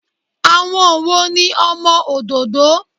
Àwọn wo ni ọmọ òdòdó?